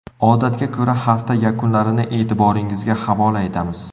Odatga ko‘ra, hafta yakunlarini e’tiboringizga havola etamiz.